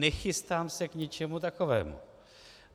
Nechystám se k ničemu takovému.